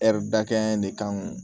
dakɛn in ne kan